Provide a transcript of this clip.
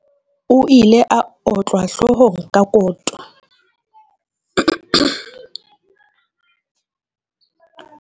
O ile a otlwa hloohong ka koto.